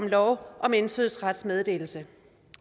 lov om indfødsretsmeddelelse